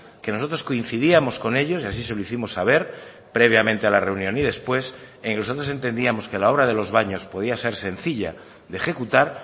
que nosotros coincidíamos con ellos y así se lo hicimos saber previamente a la reunión y después e incluso nosotros entendíamos que la obra de los baños podía ser sencilla de ejecutar